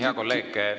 Hea kolleeg!